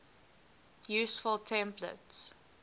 useful templates